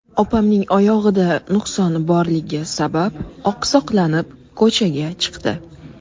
Opamning oyog‘ida nuqsoni borligi sabab, oqsoqlanib, ko‘chaga chiqdi.